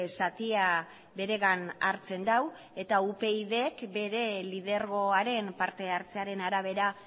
zatia beregan hartzen du eta upydk bere lidergoaren parte hartzearen arabera